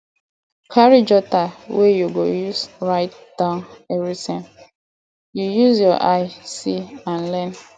carry jotter wey you go use write down everything you use your eye see and learn